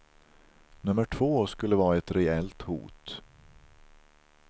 Nummer två skulle vara ett reellt hot.